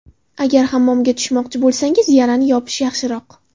Agar hammomga tushmoqchi bo‘lsangiz, yarani yopish yaxshiroq.